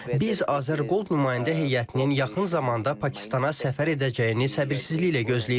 Biz Azərqold nümayəndə heyətinin yaxın zamanda Pakistana səfər edəcəyini səbirsizliklə gözləyirik.